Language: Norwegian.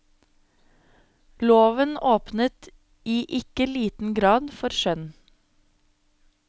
Loven åpnet i ikke liten grad for skjønn.